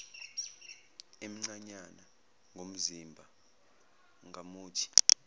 emncanyana ngomzimba ngamuthi